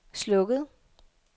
slukket